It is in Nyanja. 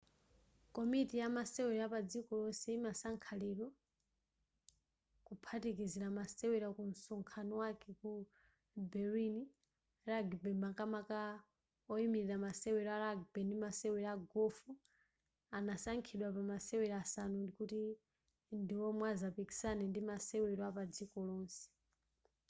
komiti ya masewero yapadziko lonse inasankha lero kuphatikizila masewero kunsonkhano wake ku berlin rugby makamaka oimilira masewero a rugby ndi masewero a gofu anasankhidwa pa masewela asanu kuti ndi omwe azapikisane pa masewelo apadziko lonse